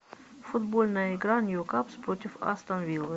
футбольная игра ньюкасл против астон виллы